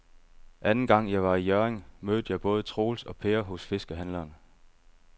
Anden gang jeg var i Hjørring, mødte jeg både Troels og Per hos fiskehandlerne.